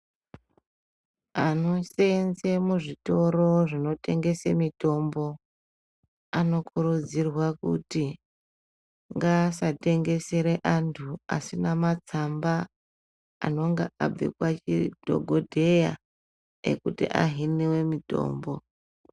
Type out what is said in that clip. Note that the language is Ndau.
Anoseenze muzvitoro zvinotengese mitombo, anokurudzirwa kuti ngaasatengesere antu asina matsamba anonga abva kwadhokodheya ekuti ahiniwe mitombo.